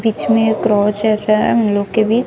बीच में क्रॉस जैसा है हम लोग के भी--